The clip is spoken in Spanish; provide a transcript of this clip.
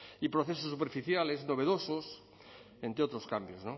y procesos superficiales novedosos entre otros cambios